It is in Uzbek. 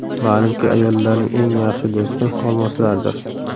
Ma’lumki, ayollarning eng yaxshi do‘sti olmoslardir.